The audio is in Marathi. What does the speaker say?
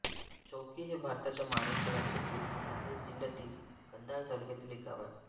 चौकी हे भारताच्या महाराष्ट्र राज्यातील नांदेड जिल्ह्यातील कंधार तालुक्यातील एक गाव आहे